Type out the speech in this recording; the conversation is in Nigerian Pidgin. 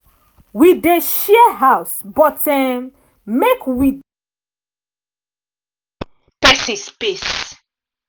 wi dey share house but um make wi dey try um respect um pesin space.